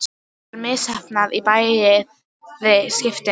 Það var misheppnað í bæði skiptin.